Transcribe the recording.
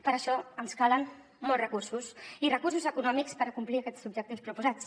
per això ens calen molts recursos i recursos econòmics per acomplir aquests objectius proposats